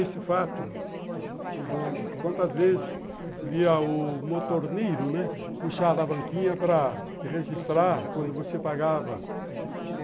Esse fato, o bonde, quantas vezes via o motorneiro, né, puxar a alavanquinha para registrar quando você pagava.